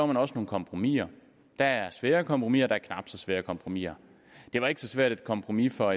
man også nogle kompromiser der er svære kompromiser og der er knap så svære kompromiser det var ikke så svært et kompromis for